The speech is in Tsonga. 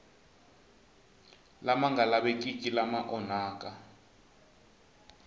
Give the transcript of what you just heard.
lama nga lavekiki lama onhaka